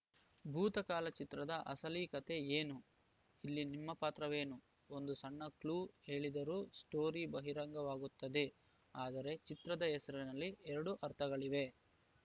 ಭೂತಃ ಕಾಲ ಚಿತ್ರದ ಅಸಲಿ ಕತೆ ಏನು ಇಲ್ಲಿ ನಿಮ್ಮ ಪಾತ್ರವೇನು ಒಂದು ಸಣ್ಣ ಕ್ಲೂ ಹೇಳಿದರೂ ಸ್ಟೋರಿ ಬಹಿರಂಗವಾಗುತ್ತದೆ ಆದರೆ ಚಿತ್ರದ ಹೆಸರಿನಲ್ಲಿ ಎರಡು ಅರ್ಥಗಳಿವೆ